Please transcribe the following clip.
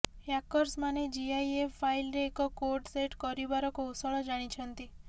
ହ୍ୟାକର୍ସମାନେ GIF ଫାଇଲ୍ରେ ଏକ code set କରିପାରିବାର କୌଶଳ ଜାଣିଛନ୍ତି